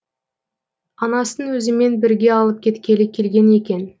анасын өзімен бірге алып кеткелі келген екен